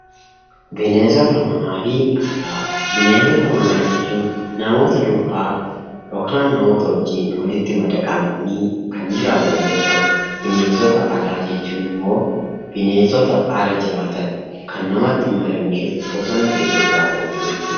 Bineensota Manaa fi Alaa: Bineensota manaa jechuun namoota duukaa (namoota wajjin) walitti madaqanii kan jiraatan yoo ta'u, bineensota alaa jechuun immoo bineensota ala jiraatan, kan namatti hin madaqnee fi bosona keessa jiraatan jechuu dha.